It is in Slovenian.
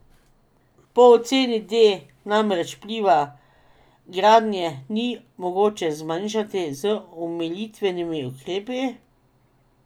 Pri oceni D namreč vpliva gradnje ni mogoče zmanjšati z omilitvenimi ukrepi.